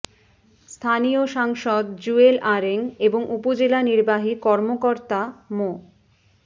স্থানীয় সাংসদ জুয়েল আরেং এবং উপজেলা নির্বাহী কর্মকর্তা মো